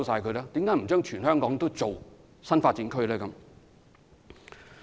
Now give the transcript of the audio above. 為何不在全港建立新發展區？